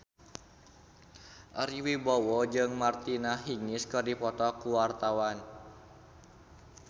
Ari Wibowo jeung Martina Hingis keur dipoto ku wartawan